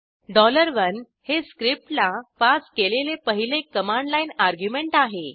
1 हे स्क्रिप्टला पास केलेले पहिले कमांड लाईन आर्ग्युमेंट आहे